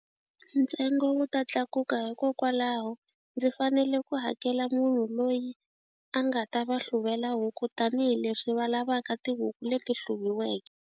Ntsengo wu ta tlakuka hikokwalaho ndzi fanele ku hakela munhu loyi a nga ta va hluvela huku tanihileswi va lavaka tihuku leti hluviweke.